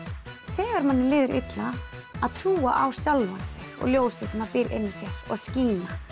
þegar manni líður illa að trúa á sjálfan sig og ljósið sem býr inni í sér og skína